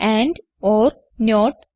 and or not